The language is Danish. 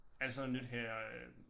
Alt sådan noget nyt her øh